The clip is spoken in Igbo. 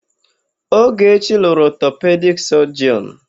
Ogechi lụrụ ọtọpedik sọjịọn.